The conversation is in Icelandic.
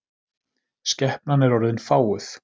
Skepnan er orðin fáguð.